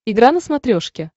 игра на смотрешке